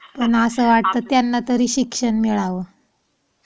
पण असं वाटतं त्यांना तरी शिक्षण मिळावं.